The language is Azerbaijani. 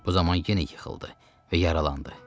Bu zaman yenə yıxıldı və yaralandı.